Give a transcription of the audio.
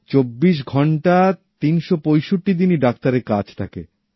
২৪ ঘণ্টা তিনটি পঁয়ষট্টি দিনই ডাক্তার এর কাজ থাকে